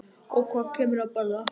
Og svo kemurðu að borða!